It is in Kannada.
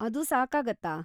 ಅದು ಸಾಕಾಗುತ್ತಾ?